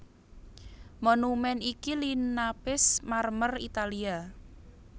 Monumèn iki linapis marmer Italia